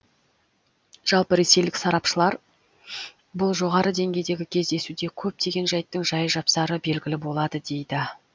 жалпы ресейлік сарапшылар бұл жоғары деңгейдегі кездесуде көптеген жайттың жай жапсары белгілі болады дейді